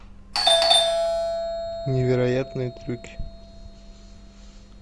невероятные трюки